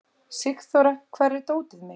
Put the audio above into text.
Sigþóra, hvar er dótið mitt?